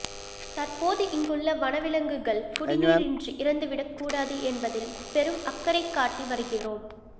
தற்போது இங்குள்ள வனவிலங்குகள் குடிநீரின்றி இறந்து விடக்கூடாது என்பதில் பெரும் அக்கறை காட்டி வருகிறோம்